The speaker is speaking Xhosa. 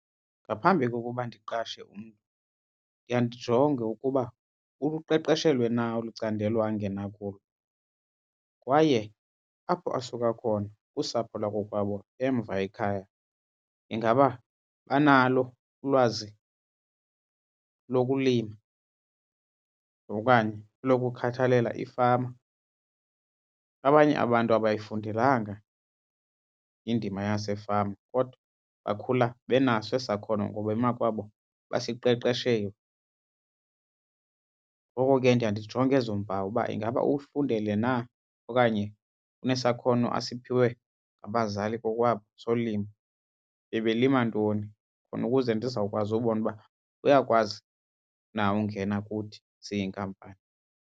Ngaphambi kokuba ndiqashe umntu ndiya ndijonge ukuba uluqeqeshelwe na olu candelo angena kulo kwaye apho asuka khona kusapho lakokwabo emva ekhaya ingaba banalo ulwazi lokulima okanye elokukhathalela ifama. Abanye abantu abayifundelanga indima yasefama kodwa bakhula benaso esi sakhono ngoba emakwabo basiqeqeshelwe. Ngoko ke ndiya ndijonge ezo mpawu uba ingaba ukufundele na okanye unesakhono asiphiwe ngabazali kokwabo solimo, ebelima ntoni khona ukuze ndizawukwazi ubona uba uyakwazi na ukungena kuthi siyinkampani.